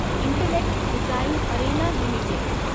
intellect Design Arena limited